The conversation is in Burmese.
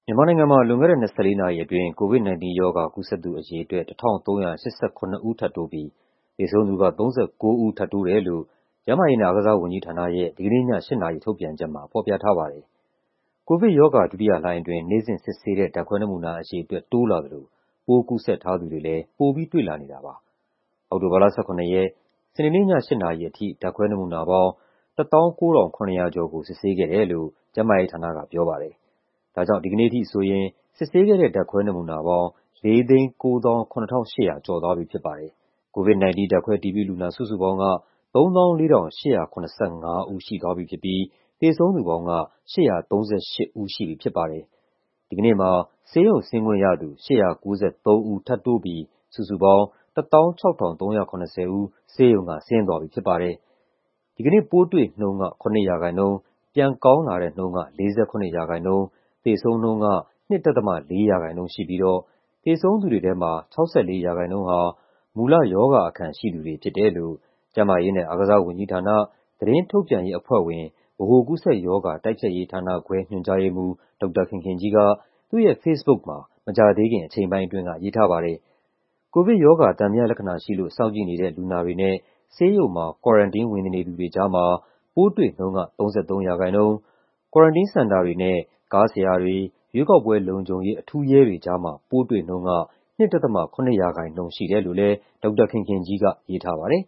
မြန်မာနိုင်ငံမှာ လွန်ခဲ့တဲ့ ၂၄ နာရီအတွင်း COVID-19 ရောဂါ ကူးစက်သူအရေအတွက် ၁,၃၈၇ ဦး ထပ်တိုးပြီး သေဆုံးသူက ၃၉ ဦး ထပ်တိုးတယ်လို့ ကျန်းမာရေးနဲ့ အားကစားဝန်ကြီးဌာနရဲ့ ဒီကနေ့ည ၈ နာရီ ထုတ်ပြန်ချက်မှာ ဖော်ပြထားပါတယ်။ ကိုဗစ်ရောဂါ ဒုတိယလှိုင်းအတွင်း နေ့စဉ်စစ်ဆေးတဲ့ ဓာတ်ခွဲနမူနာ အရေအတွက် တိုးလာသလို ပိုးကူးစက်ထားသူတွေလည်း ပိုပြီးတွေ့လာနေတာပါ။ အောက်တိုဘာလ ၁၇ ရက်၊ စနေနေ့ည ၈ နာရီအထိ ဓာတ်ခွဲနမူနာပေါင်း ၁၉,၇၃၆ ခုကို စစ်ဆေးခဲ့တယ်လို့ ကျန်းမာရေးဌာနက ပြောပါတယ်။ ဒါကြောင့် ဒီနေ့ထိဆိုရင် စစ်ဆေးခဲ့တဲ့ ဓာတ်ခွဲနမူနာပေါင်း ၄၉၇,၈၀၃ ခု ရှိသွားပြီ ဖြစ်ပါတယ်။ COVID-19 ဓာတ်ခွဲအတည်ပြုလူနာ စုစုပေါင်းက ၃၄,၈၇၅ ဦး ရှိသွားပြီဖြစ်ပြီး သေဆုံးသူပေါင်းက ၈၃၈ ဦးရှိပြီ ဖြစ်ပါတယ်။ ဒီကနေ့မှာ ဆေးရုံဆင်းခွင့်ရသူ ၈၉၃ ဦး ထပ်တိုးပြီး စုစုပေါင်း ၁၆,၃၇၀ ဦး ဆေးရုံက ဆင်းသွားပြီဖြစ်ပါတယ်။ ဒီကနေ့ ပိုးတွေ့နှုန်းက ၇ ရာခိုင်နှုန်း၊ ပြန်ကောင်းလာတဲ့နှုန်းက ၄၇ ရာခိုင်နှုန်း၊ သေဆုံးနှုန်းက ၂.၄ ရာခိုင်နှုန်း ရှိပြီးတော့ သေဆုံးသူတွေထဲမှာ ၆၄ ရာခိုင်နှုန်းဟာ မူလရောဂါအခံရှိသူတွေ ဖြစ်တယ်လို့ ကျန်းမာရေးနဲ့ အားကစားဝန်ကြီးဌာန၊ သတင်းထုတ်ပြန်ရေးအဖွဲ့ဝင်၊ ဗဟိုကူးစက်ရောဂါ တိုက်ဖျက်ရေးဌာနခွဲ ညွှန်ကြားရေးမှူး ဒေါက်တာခင်ခင်ကြီးက သူ့ရဲ့ ဖေ့စ်ဘုတ်မှာ မကြာသေးခင် အချိန်ပိုင်းအတွင်းက ရေးထားပါတယ်။ ကိုဗစ်ရောဂါ သံသယလက္ခဏာရှိလို့ စောင့်ကြည့်နေတဲ့ လူနာတွေနဲ့ ဆေးရုံမှာ Quarantine ဝင်နေသူတွေကြားမှာ ပိုးတွေ့နှုန်းက ၃၃ ရာခိုင်နှုန်း၊ Quarantine Center တွေနဲ့ ကားဆရာတွေ၊ ရွေးကောက်ပွဲလုံခြုံရေး အထူးရဲတွေကြားမှာ ပိုးတွေ့နှုန်းက ၂.၇ ရာခိုင်နှုန်း ရှိတယ်လို့လည်း ဒေါက်တာခင်ခင်ကြီးက ရေးထားပါတယ်